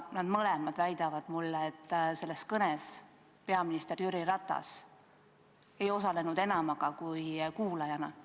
Nad mõlemad väitsid mulle, et selles kõnes peaminister Jüri Ratas ei osalenud enam kui kuulajana.